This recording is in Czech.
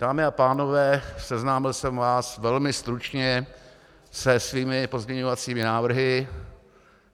Dámy a pánové, seznámil jsem vás velmi stručně se svými pozměňovacími návrhy.